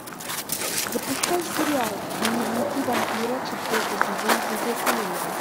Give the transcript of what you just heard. запускай сериал дневники вампира четвертый сезон третья серия